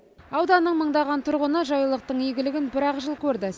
ауданның мыңдаған тұрғыны жайлылықтың игілігін бір ақ жыл көрді